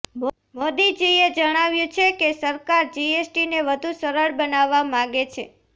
મોદીજી એ જણાવ્યુ છે કે સરકાર જીએસટીને વધુ સરળ બનાવવા માગે છે